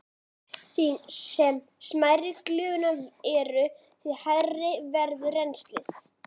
Því smærri sem glufurnar eru, því hægara verður rennslið.